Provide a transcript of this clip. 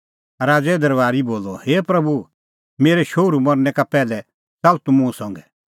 राज़ैए अफसरै बोलअ हे प्रभू मेरै शोहरू मरनै का पैहलै च़ाल्ल तूह मुंह संघै